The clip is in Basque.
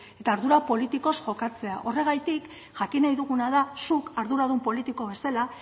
eta ardura politikoz kokatzea horregatik jakin nahi duguna da zuk arduradun politiko bezala